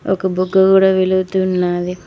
ఒక బుగ్గ కూడ వెలుగుతూ ఉన్నాది.